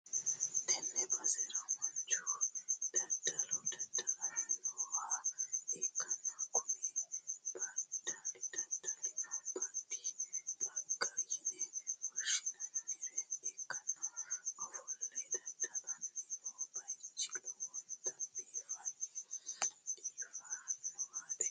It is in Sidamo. Tenne basera manchu daddalo daddallanni nooha ikkanna, kuni daddalino baadi xagga yine woshshineemmore ikkanna, ofolle dadda'lanni noo bayichino lowontanni dibiifannowaati.